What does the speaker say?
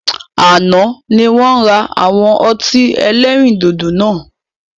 Àná ni wọn ra àwọn ọtí ẹlẹ́rìndòdò náà